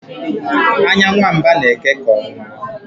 anya nwa mba na-eke ka ọnwa